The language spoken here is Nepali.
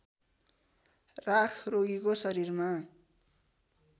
राख रोगीको शरीरमा